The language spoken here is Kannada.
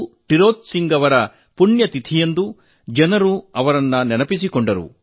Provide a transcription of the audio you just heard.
ತಿರೋತ್ ಸಿಂಗ್ ಅವರ ಪುಣ್ಯತಿಥಿಯಂದು ಜನರು ಅವರನ್ನು ನೆನಪಿಸಿಕೊಂಡರು